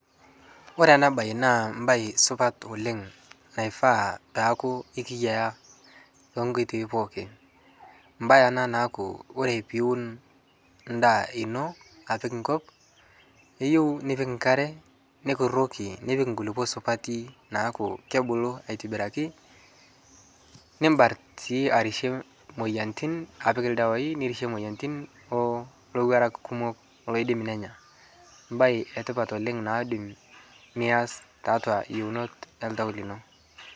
kore anaa bai naa mbai supat oleng naifaa peakuu ikiyaa tonkoitoi pookin mbai anaa naaku oree piwun ndaa inoo apik nkop eyeu nipik nkaree nikuroki nipik nkulipoo supatii naaku kebuluu aitibirakii nimbart sii arishie moyanitin apik ldawai nirishoe moyanitin oo lowarak kumoo loidim nenyaa mbai etipat oleng naidim niaz taatu iyeunot ee ltau lino